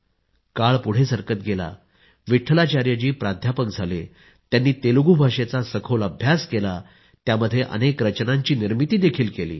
काळ पुढे सरकत गेला तसे विट्ठलाचार्य जी प्राध्यापक झाले त्यांनी तेलगु भाषेचा सखोल अभ्यास केला आणि त्यातच अनेक रचनांची निर्मिती देखील केली